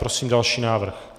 Prosím další návrh.